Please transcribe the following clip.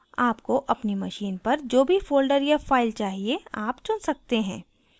आपको अपनी machine पर जो भी folder या file चाहिए आप चुन सकते हैं